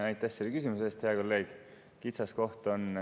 Aitäh selle küsimuse eest, hea kolleeg!